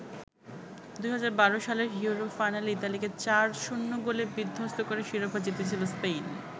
২০১২ সালের ইউরো ফাইনালে ইতালিকে ৪-০ গোলে বিধ্বস্ত করে শিরোপা জিতেছিল স্পেন।